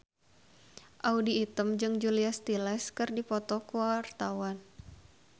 Audy Item jeung Julia Stiles keur dipoto ku wartawan